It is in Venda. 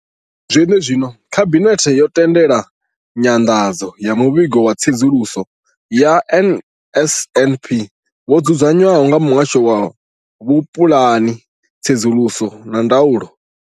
Zwenezwino, Khabinethe yo tendela nyanḓadzo ya Muvhigo wa Tsedzuluso ya NSNP wo dzudzanywaho nga Muhasho wa Vhupulani, Tsedzuluso na Ndaulo.